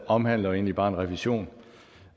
omhandler egentlig bare en revision